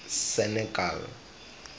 senekal